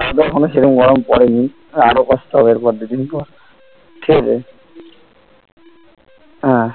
আমাদের এখানে সেরম গরম পড়েনি আর কষ্ট হবে এর পর দুদিন পর ঠিকআছে আহ